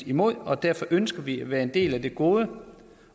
imod og derfor ønsker vi at være en del af de gode